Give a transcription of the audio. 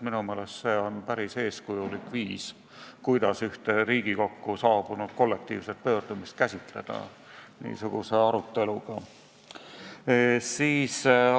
Minu meelest on see päris eeskujulik viis, kuidas ühte Riigikokku saabunud kollektiivset pöördumist niisuguse aruteluga käsitleda.